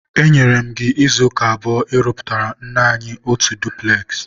enyere m gị izuụka abụọ ịrụpụtara nne anyi otu dupules!